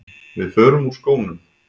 Við förum úr skónum.